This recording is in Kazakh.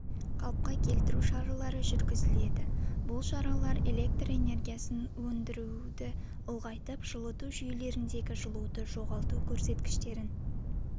қалыпқа келтіру жұмыстары жүргізіледі бұл шаралар электр энергиясын өндіруді ұлғайтып жылыту жүйелеріндегі жылуды жоғалту көрсеткіштерін